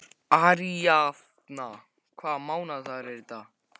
Aríaðna, hvaða mánaðardagur er í dag?